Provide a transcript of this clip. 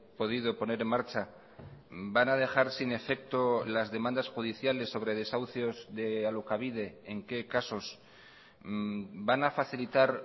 podido poner en marcha van a dejar sin efecto las demandas judiciales sobre desahucios de alokabide en qué casos van a facilitar